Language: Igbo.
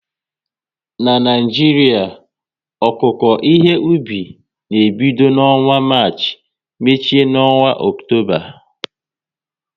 Na Naijiria, okuko ihe obi na ebido n'ọnwa Marchi, mechie n'ọnwa Ọktoba